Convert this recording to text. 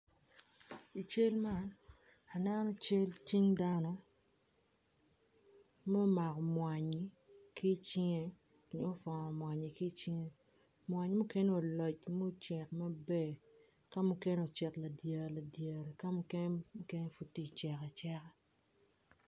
I cal man aneno cal cing dano ma omako mwanyi ki icinge mwanyi mukene opwoc mucek maber, kamukene ocel ladiere ladiere ka mukene pud tye cek aceka.